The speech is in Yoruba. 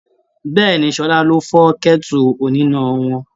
Bẹ́ẹ̀ni, Ṣọlá ló fọ́ kẹ́tù oníná wọn.